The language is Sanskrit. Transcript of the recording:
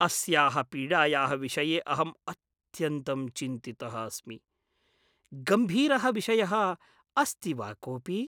अस्याः पीडायाः विषये अहम् अत्यन्तं चिन्तितः अस्मि। गम्भीरः विषयः अस्ति वा कोपि ?